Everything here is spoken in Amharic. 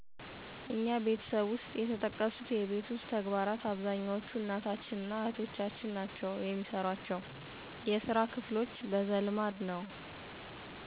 እኛ ቤተሰብ ውሰጥ የተጠቀሱት የቤት ውስጥ ተግባራት አብዛኛዎቹን እናታችን እና እህቶቻችን ናቸው የሚሰሯቸው። የስራ ክፍሎች በዘልማድ ነዉ።